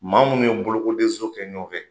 Maa munnu ye bolokodezo kɛ ɲɔɔn fɛ